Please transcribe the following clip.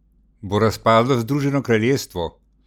Bo razpadlo Združeno kraljestvo?